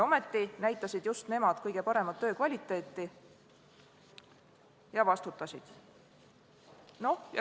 Ometi näitasid just nemad kõige paremat töö kvaliteeti ja vastutasid.